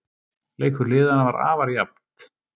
Leikur liðanna var afar jafnt